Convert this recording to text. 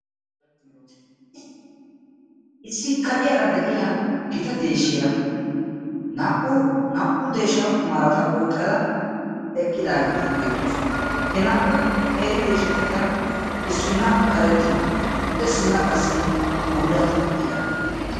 issi kaciyaara de'iyaa gita deeshiya naa"u deeshsha marata oyqqada eqqidaageeti beettoosona he naa"u qeeri deeshshatikka issina karettiyo issina bullata ekkiyaara bettawus.